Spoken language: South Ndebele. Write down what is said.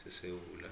sesewula